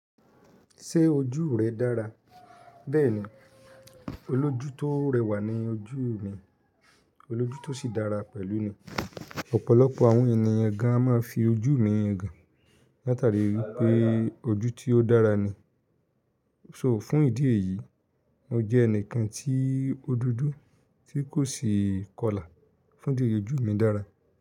Ṣé ojú rẹ dára? Bẹ́ẹ̀ni, olójú tó rẹwà ni ojú mi, olójú tó sì dára pẹ̀lú ni. Ọ̀pọ̀lọpọ̀ àwọn ènìyàn gan an máa ń fi ojú mi yan gan látàríi wípé ojú tí ó dára ni. So fún ìdí èyí, mo jẹ́ ẹnìkan tí o dudu tí kò sì kọlà fún ìdí yi ojú mi dára.